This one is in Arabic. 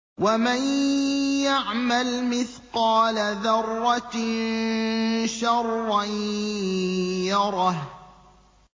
وَمَن يَعْمَلْ مِثْقَالَ ذَرَّةٍ شَرًّا يَرَهُ